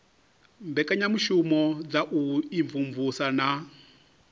mbekanyamushumo dza u imvumvusa na